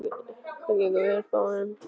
Dallilja, hvernig er veðurspáin?